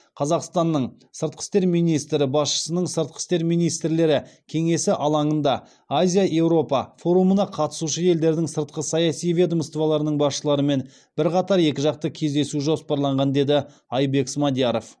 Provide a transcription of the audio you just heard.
қазақстанның сыртқы істер министрі басшысының сыртқы істер министрлері кеңесі алаңында азия еуропа форумына қатысушы елдердің сыртқы саяси ведомстволарының басшыларымен бірқатар екіжақты кездесу жоспарланған деді айбек смадияров